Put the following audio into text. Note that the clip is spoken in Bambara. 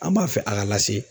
An b'a fɛ a ka lase.